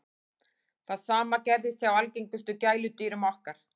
það sama gerist hjá algengustu gæludýrum okkar